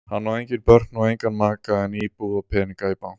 Hann á engin börn og engan maka en íbúð og peninga í banka.